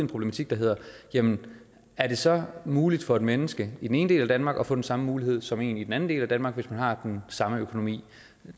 problematik der hedder jamen er det så muligt for et menneske i den ene del af danmark at få den samme mulighed som en i den anden del af danmark hvis man har den samme økonomi